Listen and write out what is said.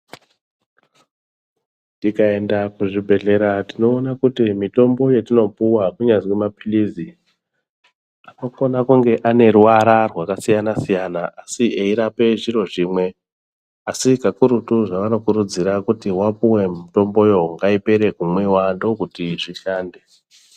Tikaenda kuzvibhedhlera tinoona kuti mitombo yetinopuwaa kunyazwi maphirizi anokone kunge ane ruvara rwakasiyana-siyana asi eirape zviro zvimwe. Asi kakurutu zvevanokurudzira kuti vapuwe mitomboyo, ngaipere kumwiwa ndokuti zvishande.